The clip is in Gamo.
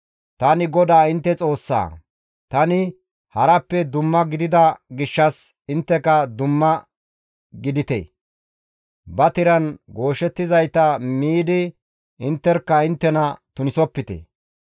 Tani GODAA intte Xoossaa; tani harappe dumma gidida gishshas intteka dumma gidite; ba tiran gooshettizayta miidi intterkka inttena tunisopite.